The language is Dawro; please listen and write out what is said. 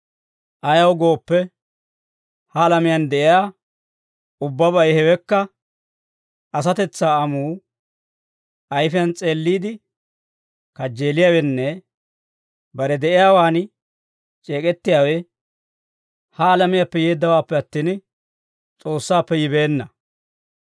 Ayaw gooppe, ha alamiyaan de'iyaa ubbabay, hewekka: asatetsaa amuu, ayifiyaan s'eelliide kajjeeliyaawenne bare de'iyaawaan c'eek'ettiyaawe ha alamiyaappe yeeddawaappe attin, S'oossaappe yibeenna.